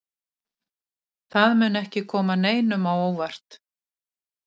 Það mun ekki koma neinum á óvart.